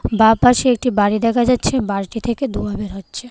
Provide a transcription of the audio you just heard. বাঁ পাশে একটি বাড়ি দেখা যাচ্ছে বাড়িটি থেকে ধোঁয়া বের হচ্ছে।